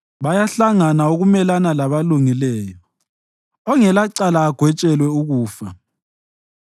Bayahlangana ukumelana labalungileyo ongelacala agwetshelwe ukufa.